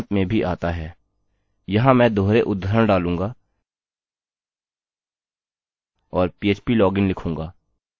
यहाँ मैं दोहरे उद्धरण डालूँगा और phplogin लिखूँगा